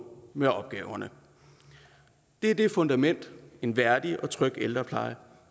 med opgaverne det er det fundament en værdig og tryg ældrepleje